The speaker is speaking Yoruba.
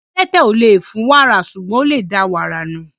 Adẹ́tẹ̀ ò lè fún wàrà, ṣùgbọ́n ó lè da wàrà nù.